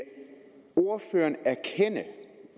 ordføreren erkende